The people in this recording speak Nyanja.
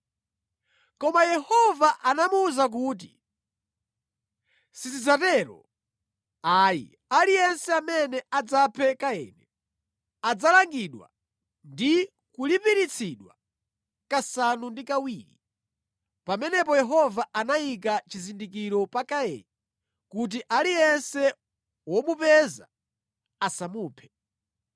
Koma Yehova anamuwuza kuti, “Sizidzatero ayi; aliyense amene adzaphe Kaini adzalangidwa ndi kulipiritsidwa kasanu ndi kawiri.” Pamenepo Yehova anayika chizindikiro pa Kaini kuti aliyense womupeza asamuphe.